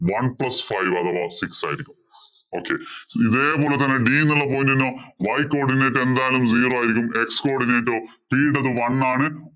one plus five അഥവാ six ആയിരിക്കും. Okay ഇതേ പോലെ തന്നെ d എന്നുള്ള point ഇനോ y codinate എന്തായാലും zero ആയിരിക്കും. X codinate ഓ? C യുടേത് one ആണ്.